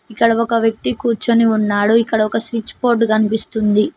ఇక్కడ ఒక వ్యక్తి కూర్చొని ఉన్నాడు ఇక్కడ ఒక స్విచ్ బోర్డు కనిపిస్తుంది.